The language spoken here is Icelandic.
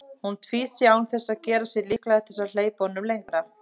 Hún tvísté án þess að gera sig líklega til að hleypa honum lengra.